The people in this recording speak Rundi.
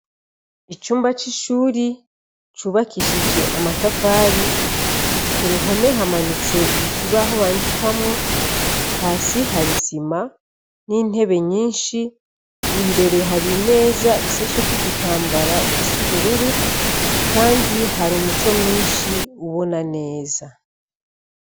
Icumba c'ishuri cubakishije amatafari, kuruhome hamanitse ikibaho bandikamwo, hasi har'isima, n'intebe nyishi ,imbere hari imeza isasheko igitanbara gis'ubururu ,kandi har'umuco mwinshi ubona neza.